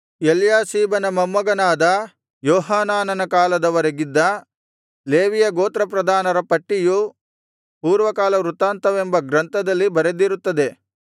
ಎಲ್ಯಾಷೀಬನ ಮೊಮ್ಮಗನಾದ ಯೋಹಾನಾನನ ಕಾಲದ ವರೆಗಿದ್ದ ಲೇವಿಯ ಗೋತ್ರಪ್ರಧಾನರ ಪಟ್ಟಿಯು ಪೂರ್ವಕಾಲ ವೃತ್ತಾಂತವೆಂಬ ಗ್ರಂಥದಲ್ಲಿ ಬರೆದಿರುತ್ತದೆ